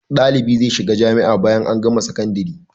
Dalibi zai shiga jamia bayan an gama sakandari